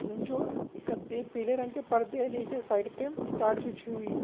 जो कतई पीले रंग के परदे है नीचे साइड पे ताड बिछी हुयी है।